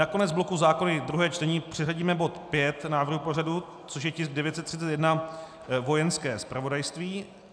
Na konec bloku zákony, druhé čtení, přiřadíme bod 5 návrhu pořadu, což je tisk 931, Vojenské zpravodajství.